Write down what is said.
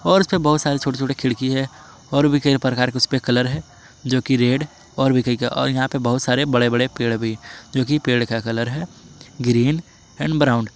और इसमें बहुत सारे छोटे छोटे खिड़की है और भी कई प्रकार के उसमें कलर है जो की रेड और यहां पे बहुत सारे बड़े बड़े पेड़ भी जो की पेड़ का कलर है ग्रीन एंड ब्राउन ।